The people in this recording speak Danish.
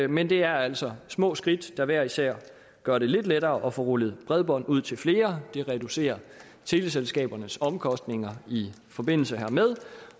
men det er altså små skridt der hver især gør det lidt lettere at få rullet bredbånd ud til flere det reducerer teleselskabernes omkostninger i forbindelse hermed